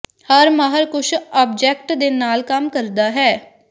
ਹਰ ਮਾਹਰ ਕੁਝ ਆਬਜੈਕਟ ਦੇ ਨਾਲ ਕੰਮ ਕਰਦਾ ਹੈ